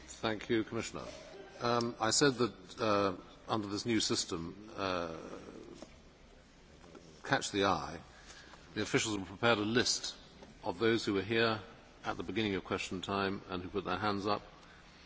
I said that under this new system of catch the eye the officials would prepare a list of those who were here at the beginning of Question Time and who had put their hands up, as fairly as possible.